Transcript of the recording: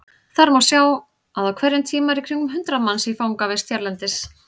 Þar má sjá að á hverjum tíma eru í kringum hundrað manns í fangavist hérlendis.